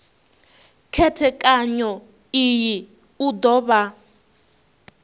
khethekanyo iyi u do vha